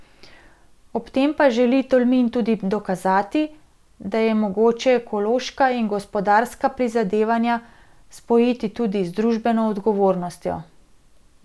Ob tem pa želi Tolmin tudi dokazati, da je mogoče ekološka in gospodarska prizadevanja spojiti tudi z družbeno odgovornostjo.